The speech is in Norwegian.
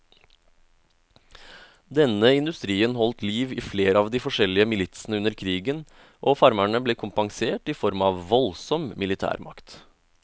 Denne industrien holdt liv i flere av de forskjellige militsene under krigen, og farmerne ble kompensert i form av voldsom militærmakt.